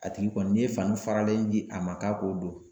A tigi kɔni n'i ye fani faralen di a ma k'a k'o don.